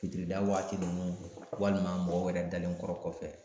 Fitirida waati ninnu walima mɔgɔw yɛrɛ dalenkɔrɔ kɔfɛ